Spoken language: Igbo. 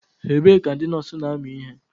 Ebee ka ndị nọọsụ na-amụ ihe?